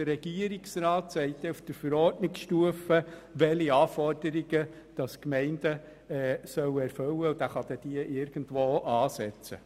Der Regierungsrat sagt dann auf Verordnungsstufe, welche Anforderungen die Gemeinden erfüllen sollen, und er kann irgendwo ansetzen.